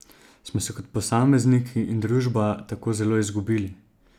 Smo se kot posamezniki in družba tako zelo izgubili?